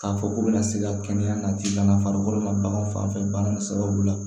K'a fɔ k'u bɛna se ka kɛnɛya nati bana farikolo ma bagan fanfɛ bana sababu la